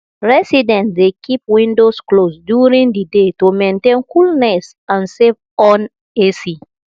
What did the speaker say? residents dey keep windows closed during the day to maintain coolness and save on ac